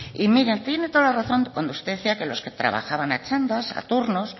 y mire tiene toda la razón cuando usted decía que los que trabajaban a txandas a turnos